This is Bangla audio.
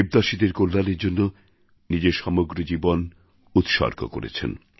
দেবদাসীদের কল্যাণের জন্য নিজের সমগ্র জীবন উৎসর্গ করেছেন